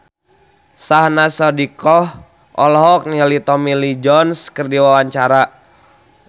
Syahnaz Sadiqah olohok ningali Tommy Lee Jones keur diwawancara